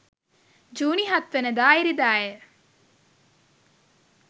ජුනි 7 වනදා ඉරිදාය.